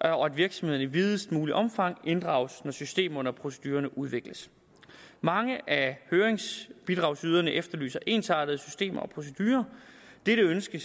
og at virksomhederne i videst muligt omfang inddrages når systemerne og procedurerne udvikles mange af høringsbidragsyderne efterlyser ensartede systemer og procedurer dette ønske